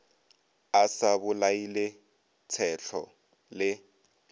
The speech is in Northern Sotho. a sa bolaile tshetlo le